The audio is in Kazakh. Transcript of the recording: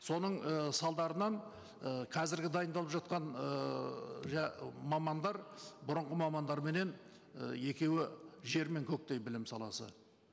соның і салдарынан і қазіргі дайындалып жатқан ыыы мамандар бұрынғы мамандарменен і екеуі жер мен көктей білім саласы